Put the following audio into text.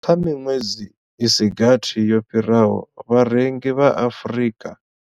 Kha miṅwedzi i si gathi yo fhiraho, vharengi vha Afrika.